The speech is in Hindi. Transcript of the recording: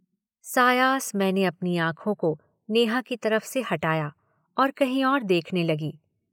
सायास मैंने अपनी आंखों को नेहा की तरफ से हटाया और कहीं और देखने लगी।